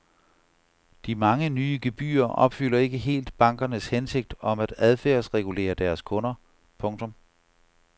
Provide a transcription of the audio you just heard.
De mange nye gebyrer opfylder ikke helt bankernes hensigt om at adfærdsregulere deres kunder. punktum